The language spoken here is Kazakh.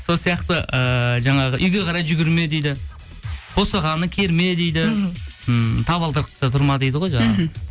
сол сияқты ыыы жаңағы үйге қарай жүгірме дейді босағаны керме дейді мхм м табалдырықта тұрма дейді ғой жаңағы мхм